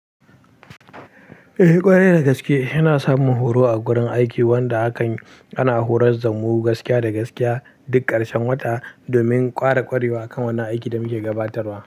Eh, ƙware da gaske ina samun horo a wurin aiki, wanda hakan yana horar da mu gaskiya da gaskiya duk ƙarshen wata domin ƙara ƙwarewa kan wannan aikin da muke gabatarwa.